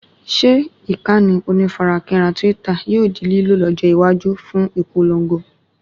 Ṣe ìkànnì onífarakínra Twitter yóò di lílò lọ́jọ́ iwájú fún ìpòlongo?